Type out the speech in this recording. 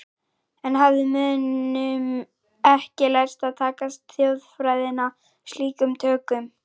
Enn hafði mönnum ekki lærst að taka þjóðfræðina slíkum tökum.